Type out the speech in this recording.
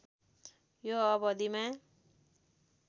यो अवधिमा